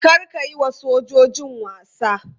Kar ka yi wa sojojin wasa!